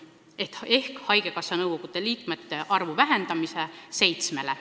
Nad olid kokku leppinud haigekassa nõukogu liikmete arvu vähendamises seitsmeni.